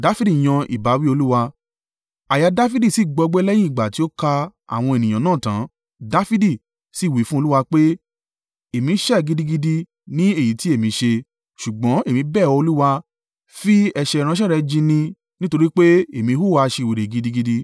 Àyà Dafidi sì gbọgbẹ́ lẹ́yìn ìgbà tí ó ka àwọn ènìyàn náà tán. Dafidi sì wí fún Olúwa pé, “Èmi ṣẹ̀ gidigidi ní èyí tí èmi ṣe, ṣùgbọ́n, èmi bẹ̀ ọ, Olúwa, fi ẹ̀ṣẹ̀ ìránṣẹ́ rẹ jì ní, nítorí pé èmi hùwà aṣiwèrè gidigidi!”